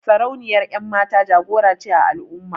Sarauniyar 'yanmata jagora ce a al'umma.